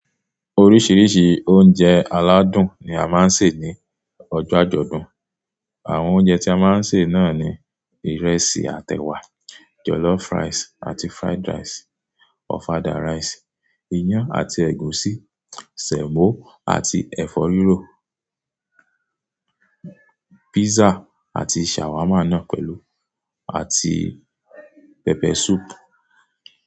Oríṣiríṣi oúnjẹ aládùn ni a máa ń sè ní ọjọ́ àjọ̀dún. Àwọn oúnjẹ tí a máa ń sè náà ni ìrẹsì àtèwà, jọ̀lọ́fù ráìsì àti fried rice, ofada rice, iyán àti ẹ̀gúsí, sẹ̀mọ́ àti ẹ̀fọ́ rírò, pizza àti shawarma náà pẹ̀lú àti pẹpẹ súùpù.